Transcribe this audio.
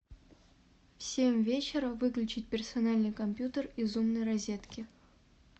в семь вечера выключить персональный компьютер из умной розетки